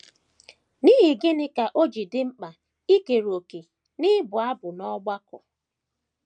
N’ihi gịnị ka o ji dị mkpa ikere òkè n’ịbụ abụ n’ọgbakọ?